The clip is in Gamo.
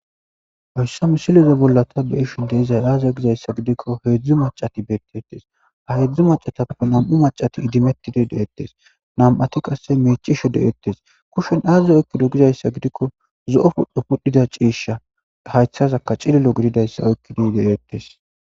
Hoyssa misileza bolla ta beishin deezay aaza gizayssa gidikko heedzdzu macati bettettes ha yedzdzu macatappe nam'u macati idimetidi deettes nam'ati qasse meicisho de'ettes kushen aazaze oykkido gizayssa gidikko zo'o pudhdhu pudhdhida ciishsha haythazakka cililo gididayssa oykkido ideettes.